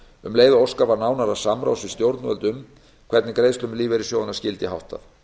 um leið og óskað var nánara samráðs við stjórnvöld um hvernig greiðslum lífeyrissjóðanna skyldi háttað